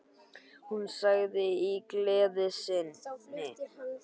Hún sagði í gleði sinni